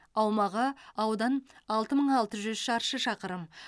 аумағы аудан алты мың алты жүз шаршы шақырым